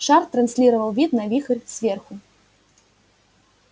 шар транслировал вид на вихрь сверху